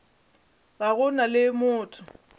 ga go na le motho